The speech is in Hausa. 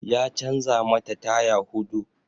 Ya canza mata taya huɗu